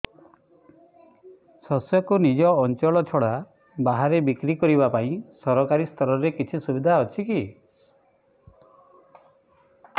ଶସ୍ୟକୁ ନିଜ ଅଞ୍ଚଳ ଛଡା ବାହାରେ ବିକ୍ରି କରିବା ପାଇଁ ସରକାରୀ ସ୍ତରରେ କିଛି ସୁବିଧା ଅଛି କି